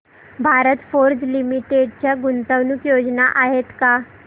Bharat Forge limited च्या गुंतवणूक योजना आहेत का